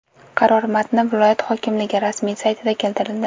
Qaror matni viloyat hokimligi rasmiy saytida keltirildi .